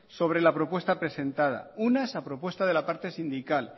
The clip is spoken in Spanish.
sobre la propuesta presentada unas a propuesta de la parte sindical